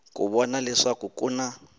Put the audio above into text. ku vona leswaku ku na